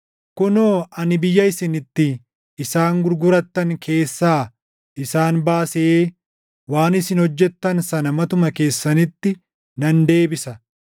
“Kunoo, ani biyya isin itti isaan gurgurattan keessaa isaan baasee waan isin hojjettan sana matuma keessanitti nan deebisa.